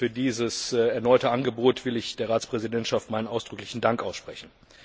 Für dieses erneute Angebot will ich der Ratspräsidentschaft meinen ausdrücklichen Dank aussprechen.